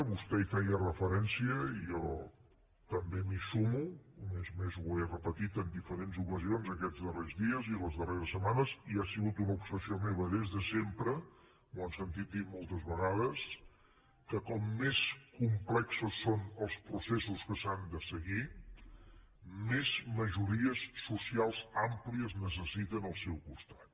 vostè hi feia referència i jo també m’hi sumo a més a més ho he repetit en diferents ocasions aquests darrers dies i les darreres setmanes i ha sigut una obsessió meva des de sempre m’ho han sentit dir moltes vegades que com més complexos són els processos que s’han de seguir més majories socials àmplies necessiten al seu costat